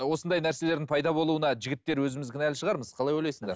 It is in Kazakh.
осындай нәрселердің пайда болуына жігіттер өзіміз кінәлі шығармыз қалай ойлайсыңдар